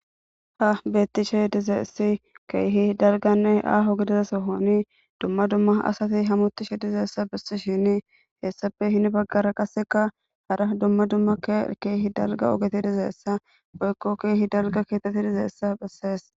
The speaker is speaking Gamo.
ha betishe dizayisi kehi daligganne aho gidida sohonni duma duma assati hametishe dizayissa bessishini hayssape heni baggara qasi kehi daligga ogeyi dizayissa